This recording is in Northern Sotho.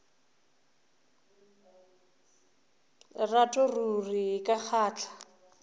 lerato ruri e ka kgahla